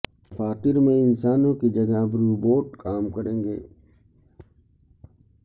دفاتر میں انسانوں کی جگہ اب روبوٹ کام کریں گے